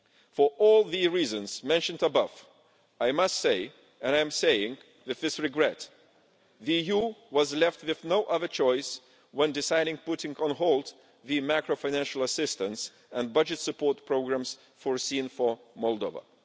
For all the reasons mentioned above, I must say and I am saying this with regret that the EU was left with no other choice in deciding to put on hold the macro-financial assistance and budget support programmes foreseen for Moldova.